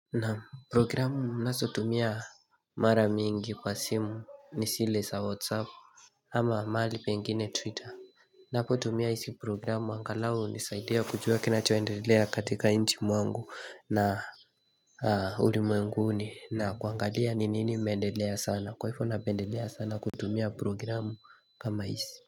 Naam programu naso tumia mara mingi kwa simu ni sile sa whatsapp ama mahali pengine twitter Napo tumia isi programu angalau unisaidia kujua kinacho endelea katika inchi mwangu na ulimwenguni na kuangalia ni nini imeendelea sana kwa hivo napendelea sana kutumia programu kama isi.